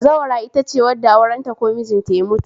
Bazawara itace wadda aurenta ko mijinta ya mutu